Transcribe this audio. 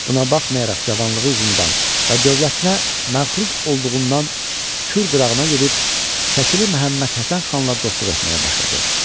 Buna baxmayaraq cavanlığı üzündən və dövlətinə məğrur olduğundan Kür qırağına gedib Şəkili Məhəmməd Həsən xanla dostluq etməyə başladı.